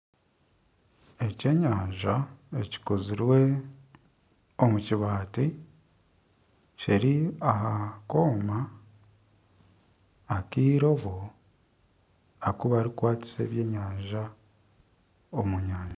Ekyenyanja ekikozirwe omu kibaati kiri aha kooma akairobo aku barikukwatisa ebyenyanja omu nyanja